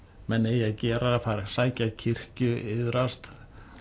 menn eigi að gera sækja kirkju iðrast